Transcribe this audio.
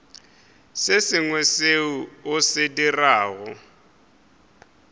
sengwe seo o se dirago